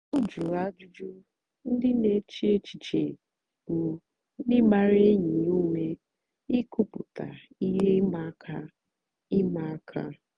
ọ jụ̀rù àjụ́jụ́ ndì na-èchè èchìchè bụ́ ndí gbàra ényì ya ùmè ìkwùpụ̀tà ihe ị̀ma àka. ị̀ma àka.